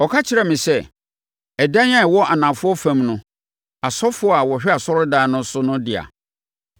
Ɔka kyerɛɛ me sɛ, “Ɛdan a ɛwɔ anafoɔ fam no, asɔfoɔ a wɔhwɛ asɔredan no so no dea,